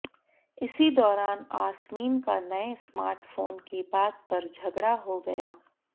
इसी दौरान आसमीन का नये स्मार्ट फोन की बात पर झगड़ा हो गया